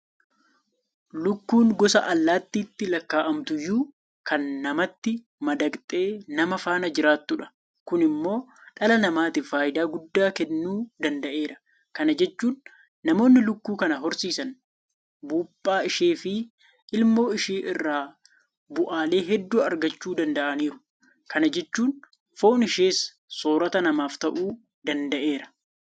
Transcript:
Lukkuun goso allaattiitti lakkaa'amtuyyuu kan namatti madaqxee nama faana jiraattudha. Kun immoo dhala namaatiif faayidaa guddaa kennuu danda'eera. Kana jechuun namoonni Lukkuu kana horsiisan Buuphaa isheefi ilmoo ishee irraa bu'aalee hedduu argachuu danda'aniiru. Kana jechuun Foon ishees soorrata namaaf ta'uu danda'eera.